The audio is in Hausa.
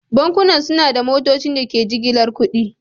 Bankunan suna da motocin da ke jigilar kuɗi.